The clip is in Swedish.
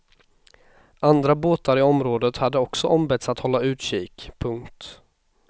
Andra båtar i området hade också ombetts att hålla utkik. punkt